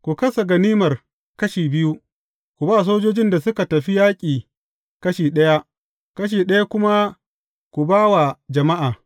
Ku kasa ganimar kashi biyu, ku ba sojojin da suka tafi yaƙi kashi ɗaya, kashi ɗaya kuma ku ba wa jama’a.